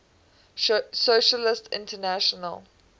socialist international